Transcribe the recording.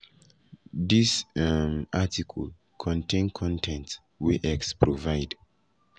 dis um article article contain con ten t wey x provide.